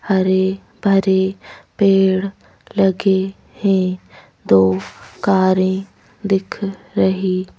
हरे-भरे पेड़ लगे हैं दो कारें दिख रही --